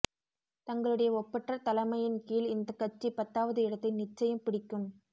தங்களுடைய ஒப்பற்ற தலைமையின் கீழ் இந்த கட்சி பத்தாவது இடத்தை நிச்சியம் பிடிக்கும்